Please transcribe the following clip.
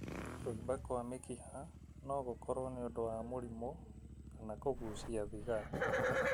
Kũimba kwa mĩkiha no gũkorwo nĩ ũndũ wa mũrimũ kana kũgucia thigara.